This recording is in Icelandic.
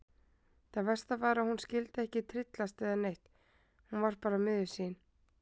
Það versta var að hún skyldi ekki tryllast eða neitt, hún var bara miður sín.